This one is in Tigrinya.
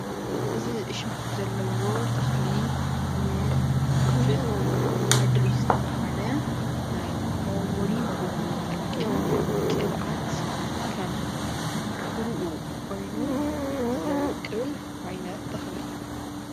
እዚ እሽኮ ዘለዎ ተክሊ ንፍልፍል አደሪ ዝተብሃለ ናይ መወልወሊ ሞጎጎ ዝጠቅም ቅብአት ከም ፍርኡ ኮይኑ ዘዉቅል ዓይነት ተክሊ እዩ።